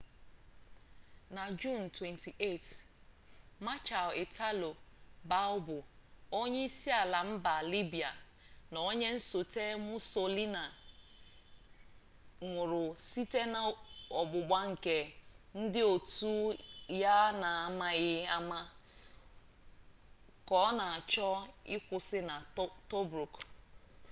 na juun 28 marshal italo balbo onyeisiala mba libya na onye nsote mussolini nwụrụ site n'ọgbụgba nke ndị otu ya n'amaghị ama ka ọ na-achọ ịkwụsị na tobruk